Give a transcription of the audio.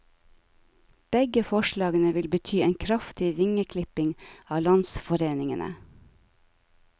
Begge forslagene vil bety en kraftig vingeklipping av landsforeningene.